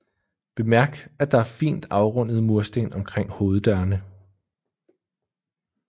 Bemærk at der er fint afrundede mursten omkring hoveddørene